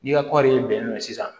N'i ka kɔɔri ye bɛnɛn ye sisan